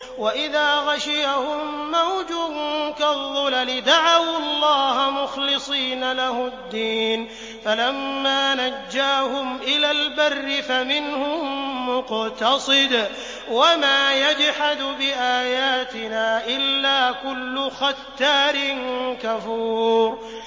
وَإِذَا غَشِيَهُم مَّوْجٌ كَالظُّلَلِ دَعَوُا اللَّهَ مُخْلِصِينَ لَهُ الدِّينَ فَلَمَّا نَجَّاهُمْ إِلَى الْبَرِّ فَمِنْهُم مُّقْتَصِدٌ ۚ وَمَا يَجْحَدُ بِآيَاتِنَا إِلَّا كُلُّ خَتَّارٍ كَفُورٍ